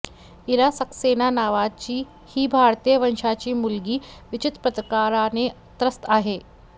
इरा सक्सेना नावाची ही भारतीय वंशाची मुलगी विचित्र प्रकाराने त्रस्त आहे